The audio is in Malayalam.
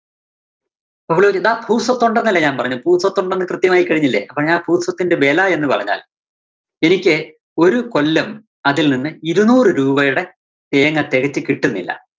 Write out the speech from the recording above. അപ്പോ ചോദിച്ചു ദാ ഭൂസ്വത്തൊണ്ടന്നല്ലേ ഞാന്‍ പറഞ്ഞത്. ഭൂസ്വത്തൊണ്ടെന്ന് കൃത്യമായി കഴിഞ്ഞില്ലേ? അപ്പോ ഞാ ഭൂസ്വത്തിന്റെ വെല എന്ന് പറഞ്ഞാല്‍ എനിക്ക് ഒരു കൊല്ലം അതില്‍ നിന്ന് ഇരുനൂറ് രൂപയുടെ തേങ്ങ തെകച്ചു കിട്ടുന്നില്ല.